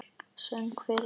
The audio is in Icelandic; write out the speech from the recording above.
Söng fyrir þau.